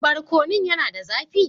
Barkonun yana da zafi?